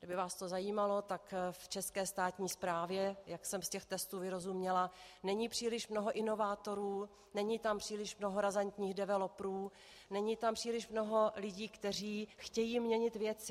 Kdyby vás to zajímalo, tak v české státní správě, jak jsem z těch testů vyrozuměla, není příliš mnoho inovátorů, není tam příliš mnoho razantních developerů, není tam příliš mnoho lidí, kteří chtějí měnit věci.